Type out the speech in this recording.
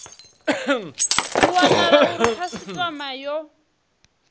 ho wanala uri khasitama yo